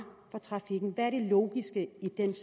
for trafikken hvad er det logiske